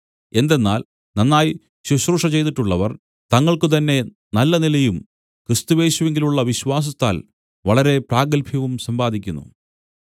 എന്തെന്നാൽ നന്നായി ശുശ്രൂഷ ചെയ്തിട്ടുള്ളവർ തങ്ങൾക്കുതന്നെ നല്ല നിലയും ക്രിസ്തുയേശുവിങ്കലുള്ള വിശ്വാസത്തിൽ വളരെ പ്രാഗത്ഭ്യവും സമ്പാദിക്കുന്നു